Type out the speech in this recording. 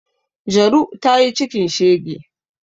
Jaru ta yi cikin shege